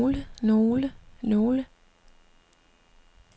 nogle nogle nogle